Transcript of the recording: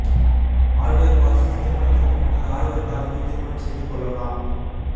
ஆல்பெர் Parsons திருமணத்திற்கு முன்னர் Oliver காதிங்கை திருமணம் செய்து கொள்ளலாம்